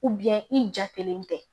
i jatelen tɛ